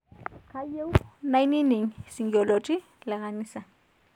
kayieu nainining singolioti lekanisa